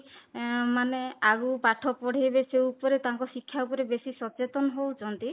ଏଁ ମାନେ ଆଗକୁ ପାଠ ପଢ଼େଇବେ ସେଇ ଉପରେ ତାଙ୍କ ଶିକ୍ଷା ଉପରେ ବେଶୀ ସଚେତନ ହଉଛନ୍ତି